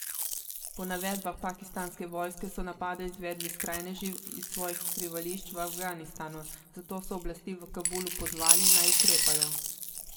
Po navedbah pakistanske vojske, so napade izvedli skrajneži iz svojih skrivališč v Afganistanu, zato so oblasti v Kabulu pozvali, naj ukrepajo.